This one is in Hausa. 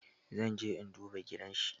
Zan je in duba gidanshi.